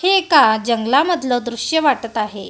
हे एका जंगलामधलं दृश्य वाटत आहे.